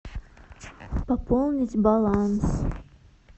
пополнить баланс